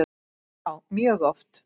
Já mjög oft.